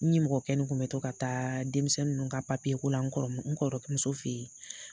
N nimɔgɔkɛ nin kun mɛ to ka taa denmisɛn nunnu ka ko la n kɔrɔkɛmuso fe yen.